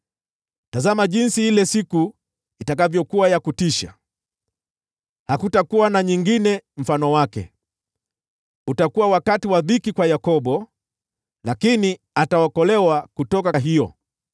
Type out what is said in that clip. Tazama jinsi ile siku itakavyokuwa ya kutisha! Hakutakuwa na nyingine mfano wake. Utakuwa wakati wa dhiki kwa Yakobo, lakini ataokolewa kutoka hiyo.